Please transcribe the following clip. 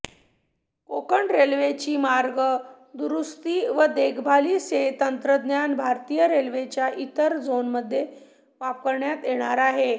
कोकण रेल्वेची मार्ग दुरुस्ती व देखभालीचे तंत्रज्ञान भारतीय रेल्वेच्या इतर झोनमध्येही वापरण्यात येणार आहे